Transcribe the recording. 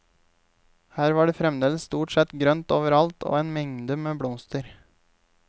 Her var fremdeles stort sett grønt over alt og en mengde med blomster.